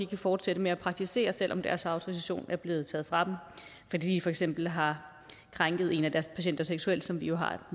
kan fortsætte med at praktisere selv om deres autorisation er blevet taget fra dem fordi de for eksempel har krænket en af deres patienter seksuelt som de jo har